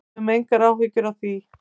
Við höfum engar áhyggjur af því.